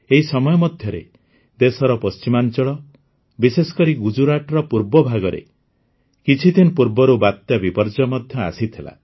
ଏହି ସମୟ ମଧ୍ୟରେ ଦେଶର ପଶ୍ଚିମାଞ୍ଚଳ ବିଶେଷକରି ଗୁଜରାଟର ପୂର୍ବ ଭାଗରେ କିଛିଦିନ ପୂର୍ବରୁ ବାତ୍ୟା ବିପର୍ଯ୍ୟୟ ମଧ୍ୟ ଆସିଥିଲା